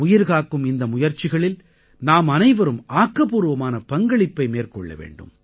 உயிர்காக்கும் இந்த முயற்சிகளில் நாம் அனைவரும் ஆக்கப்பூர்வமான பங்களிப்பை மேற்கொள்ள வேண்டும்